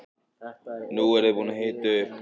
Nú eruð þið búin að hita upp.